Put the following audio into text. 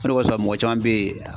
O de kosɔn, mɔgɔ caman be yen